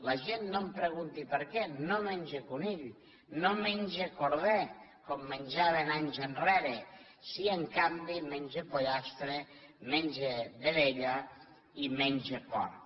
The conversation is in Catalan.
la gent no em pregunti per què no menja conill no menja corder com menjaven anys enrere sí en canvi menja pollastre menja vedella i menja porc